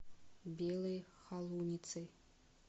белой холуницей